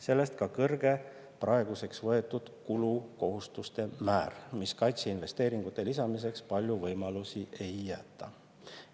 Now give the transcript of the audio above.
Sellest ka kõrge praeguseks võetud kulukohustuste määr, mis kaitseinvesteeringute lisamiseks palju võimalusi ei jäta.